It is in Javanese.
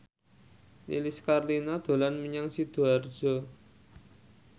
Lilis Karlina dolan menyang Sidoarjo